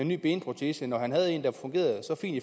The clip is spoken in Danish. ny benprotese når han havde en der fungerede så fint at